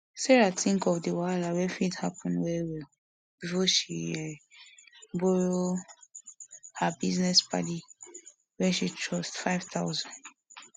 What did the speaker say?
sarah think of the wahala wey fit happen well well before she um borrow her business padi wey she trust five thousand